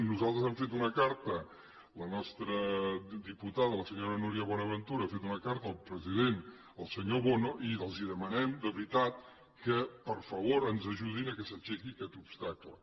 nosaltres hem fet una carta la nostra diputada la senyora núria buenaventura ha fet una carta al president al senyor bono i els demanem de veritat que per favor ens ajudin que s’aixequi aquest obstacle